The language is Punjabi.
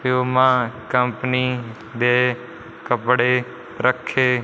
ਪਿਊਮਾ ਕੰਪਨੀ ਦੇ ਕੱਪੜੇ ਰੱਖੇ--